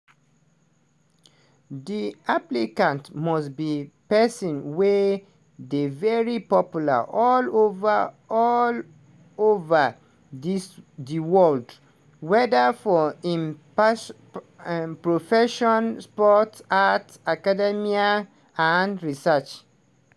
di applicant must be pesin wey dey very popular all ova all ova dis di world weda for im pers profession sport arts academia and research.